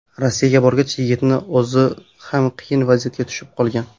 Rossiyaga borgach, yigitning o‘zi ham qiyin vaziyatga tushib qolgan.